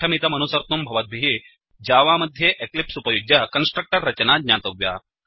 पाठमिदमनुसर्तुं भवद्भिः जावा मध्ये एक्लिप्स् उपयुज्य कन्स्ट्रक्टर् रचना ज्ञातव्या